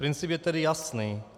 Princip je tedy jasný.